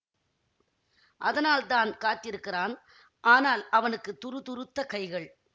அதனால் தான் காத்திருக்கிறான் ஆனால் அவனுக்கு துரு துருத்த கைகள்